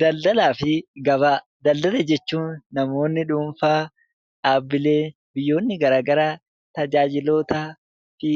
Daldalaa fi gabaa. Daldala jechuun namoonni dhuunfaa, dhaabbileen fi biyyoonni garaa garaa tajaajiloota fi